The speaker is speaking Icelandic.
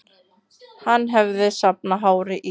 Hann hafði safnað hári í